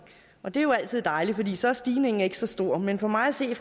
og det er jo altid dejligt for så er stigningen ikke så stor men for mig at se